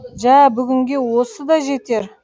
жә бүгінге осы да жетер